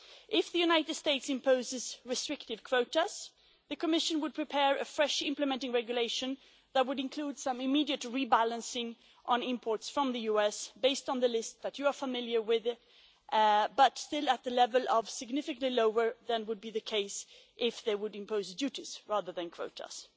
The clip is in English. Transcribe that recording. If the United States imposes restrictive quotas, the Commission will prepare a fresh implementing regulation that will include some immediate rebalancing on imports from the US, based on the list that you are familiar with it, but still at a level significantly lower than would be the case if they were to impose duties rather than quotas.